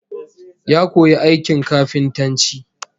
Ya koyi aikin kafintanci